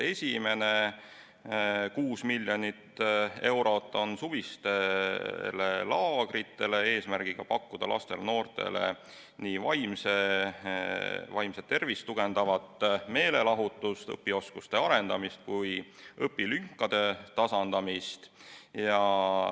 Esimene 6 miljonit eurot on suvistele laagritele eesmärgiga pakkuda lastele-noortele nii vaimset tervist tugevdavat meelelahutust, õpioskuste arendamist kui ka õpilünkade tasandamist.